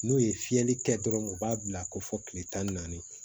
N'u ye fiyɛli kɛ dɔrɔn u b'a bila ko fɔ kile tan ni naani